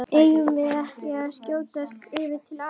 Eigum við ekki að skjótast yfir til Afríku?